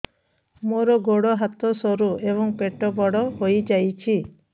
ମୋର ଗୋଡ ହାତ ସରୁ ଏବଂ ପେଟ ବଡ଼ ହୋଇଯାଇଛି